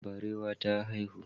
Barewa ta haihu.